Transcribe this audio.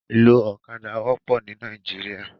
Iló ókàdá wòpò ni Nàìjíríà